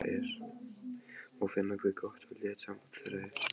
Má finna hve gott og létt samband þeirra er.